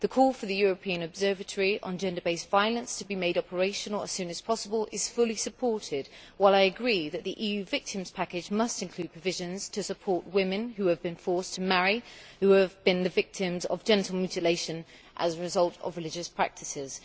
The call for the European observatory on gender based violence to be made operational as soon as possible is fully supported, while I agree that the EU Victims' Package must include provisions to support women who have been forced to marry or who have been the victims of genital mutilation as a result of religious practices.